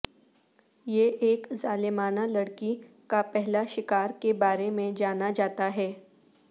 یہ ایک ظالمانہ لڑکی کا پہلا شکار کے بارے میں جانا جاتا ہے